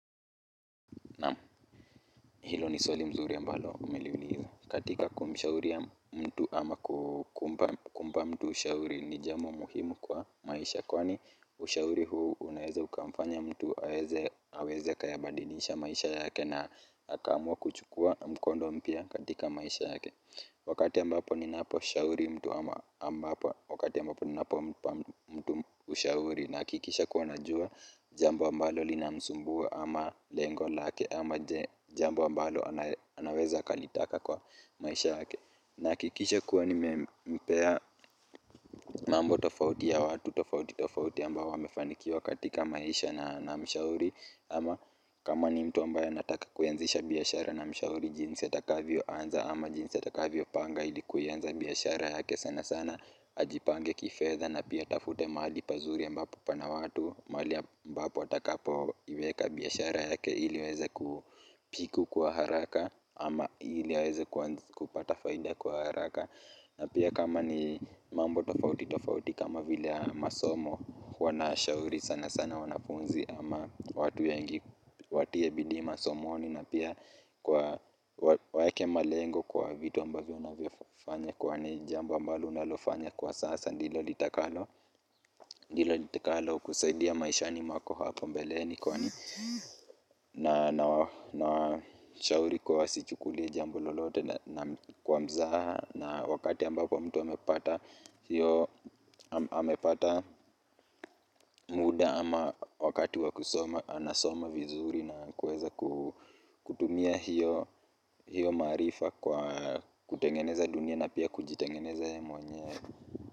Naam, hilo ni swali mzuri ambalo umeliuliza. Katika kumshauri mtu ama kumpa kuomba mtu ushauri ni jambo muhimu kwa maisha kwani ushauri huu unaweza ukamfanya mtu aweze akayabadilisha maisha yake na akaamua kuchukua mkondo mpya katika maisha yake wakati ambapo ninaposhauri mtu ama ambapo wakati ambapo ninapompa mtu ushauri nahakikisha kuwa najua jambo ambalo linamsumbua ama lengo lake ama jambo ambalo anaweza akalitaka kwa maisha yake nahakikisha kuwa nimempea mambo tofauti ya watu tofauti tofauti ambao wamefanikiwa katika maisha na namshauri ama kama ni mtu ambaye anataka kuianzisha biashara namshauri jinsi atakavyoanza ama jinsi atakavyopanga ili kuianza biashara yake sanasana ajipange kifedha na pia atafute mahali pazuri ambapo pana watu mahali ambapo atakapoiweka biashara yake ili iweze kupiku kwa haraka ama ili aweze kupata faida kwa haraka na pia kama ni mambo tofauti tofauti kama vile ya masomo huwa nashauri sanasana wanafunzi ama watu wengi watie bidii masomoni na pia kuwa waeke malengo kwa vitu ambavyo unavyofanya kwani jambo ambalo unalofanya kwa sasa ndilo litakalo ndilo llitikalo kusaidia maishani mwako hapo mbeleni kwani. Na nawashauri kuwa wasichukulie jambo lolote na kwa mzaha na wakati ambapo mtu amepata amepata muda ama wakati wa kusoma anasoma vizuri na kuweza kutumia hiyo maarifa kwa kutengeneza dunia na pia kujitengeneza yeye mwenyewe.